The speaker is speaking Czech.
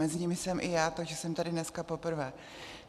Mezi nimi jsem i já, takže jsem tady dneska poprvé.